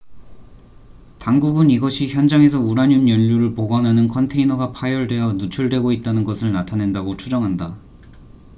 당국은 이것이 현장에서 우라늄 연료를 보관하는 컨테이너가 파열되어 누출되고 있다는 것을 나타낸다고 추정한다